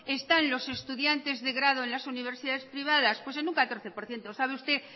están los estudiantes de grado en las universidades privadas pues en un catorce por ciento sabe usted